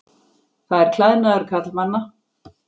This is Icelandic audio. Það er klæðnaður karlmanna.